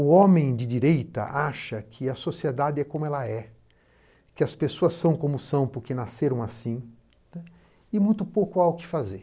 O homem de direita acha que a sociedade é como ela é, que as pessoas são como são porque nasceram assim, e muito pouco há o que fazer.